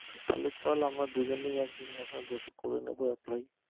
তাহলে চল আমরা দুজনেই একদিন নাহয় বসে করে নিবো